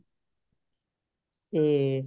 ਤੇ